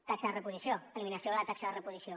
taxa de reposició eliminació de la taxa de reposició